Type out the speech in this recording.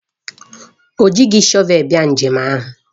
O jighị stoovu bịa njem ahụ.